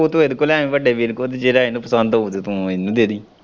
Photo ਇਹਦੇ ਕੋਲ਼ ਲੈ ਆਈ ਵੱਡੇ ਵੀਰ ਕੋਲ਼ ਜਿਹੜਾ ਇਹਨੂੰ ਪਸੰਦ ਹਊ ਤੂੰ ਇਹਨੂੰ ਦੇ ਦੇਈਂ।